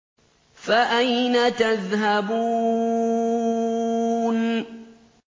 فَأَيْنَ تَذْهَبُونَ